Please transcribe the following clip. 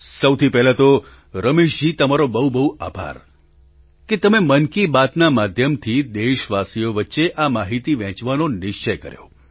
સૌથી પહેલાં તો રમેશજી તમારો બહુ બહુ આભાર કે તમે મન કી બાતના માધ્યમથી દેશવાસીઓ વચ્ચે આ માહીતી વહેંચવાનો નિશ્ચય કર્યો